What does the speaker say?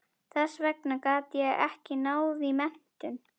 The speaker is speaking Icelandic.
Þess vegna gat ég ekki náð í menntun.